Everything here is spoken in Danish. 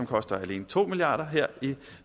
koster alene to milliard kroner her i